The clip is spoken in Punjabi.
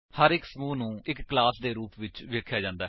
ਹਰ ਇੱਕ ਸਮੂਹ ਨੂੰ ਇੱਕ ਕਲਾਸ ਦੇ ਰੂਪ ਵਿੱਚ ਵੇਖਿਆ ਜਾਂਦਾ ਹੈ